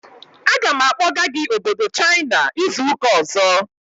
Aga m akpọga gị obodo China izu ụka ọzọ!